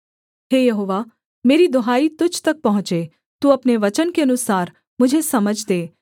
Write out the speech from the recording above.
हे यहोवा मेरी दुहाई तुझ तक पहुँचे तू अपने वचन के अनुसार मुझे समझ दे